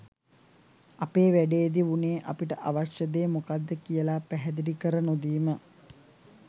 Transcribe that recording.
ඇපේ වැඩේදි වුනේ අපිට අවශ්‍ය දේ මොකද්ද කියලා පැහැදිලි කර නොදීම.